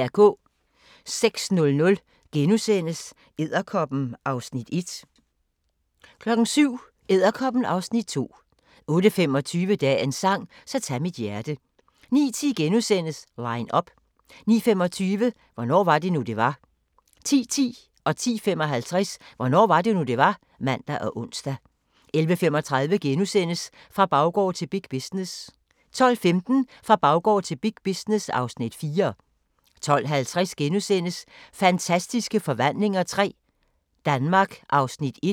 06:00: Edderkoppen (Afs. 1)* 07:00: Edderkoppen (Afs. 2) 08:25: Dagens sang: Så tag mit hjerte 09:10: Line up * 09:25: Hvornår var det nu, det var? 10:10: Hvornår var det nu, det var? (man og ons) 10:55: Hvornår var det nu, det var? (man og ons) 11:35: Fra baggård til big business * 12:15: Fra baggård til big business (Afs. 4) 12:50: Fantastiske forvandlinger III – Danmark (1:2)*